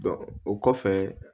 o kɔfɛ